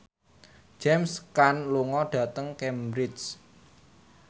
James Caan lunga dhateng Cambridge